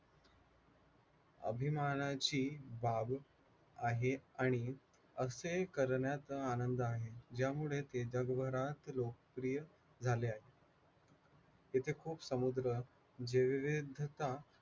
अभिमानाची बाब आहे आणि असे करण्याचा आनंद आहे आणि ज्यामुळे ते जगभरात लोकप्रिय झाले आहे